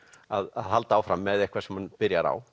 að halda áfram með eitthvað sem hann byrjar á